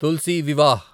Tulsi Vivah